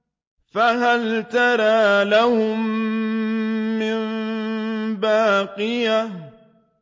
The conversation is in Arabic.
فَهَلْ تَرَىٰ لَهُم مِّن بَاقِيَةٍ